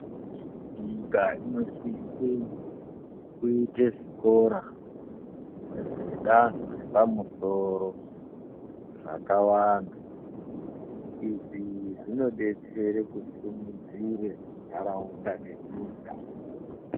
Nyika inosise kuite zvikora zvedanho repamusoro zvakawanda izvi zvinodetsere kusimudzire nharaunda nenyikaa.